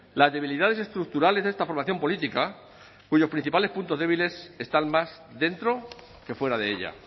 las debilidades estructurales de esta formación política cuyos principales puntos débiles están más dentro que fuera de ella